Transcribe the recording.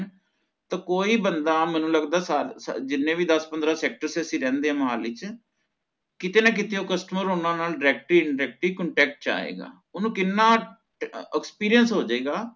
ਤਾ ਕੋਈ ਬੰਦਾ ਮੈਨੂੰ ਲੱਗਦਾ ਸਾ ਸਾਰੇ ਜਿਨ੍ਹੇ ਵੀ ਦਸ ਪੰਦਰਾਂ sector ਚ ਅਸੀਂ ਰਹਿੰਦੇ ਆ ਮੁਹਾਲੀ ਚ ਕੀਤੇ ਨਾ ਕੀਤੇ ਓ customer ਓਹਨਾ ਨਾਲ directly indirectly contact ਚ ਆਏਗਾ ਓਹਨੂੰ ਕਿੰਨਾ ਅਹ experience ਹੋ ਜੇਗਾ